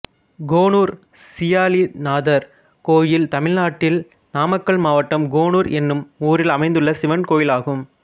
கோனூர் சீயாலிநாதர் கோயில் தமிழ்நாட்டில் நாமக்கல் மாவட்டம் கோனூர் என்னும் ஊரில் அமைந்துள்ள சிவன் கோயிலாகும்